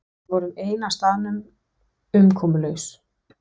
Við vorum ein á staðnum, umkomulaus.